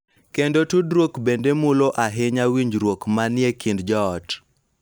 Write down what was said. Kendo tudruok bende mulo ahinya winjruok ma ni e kind joot.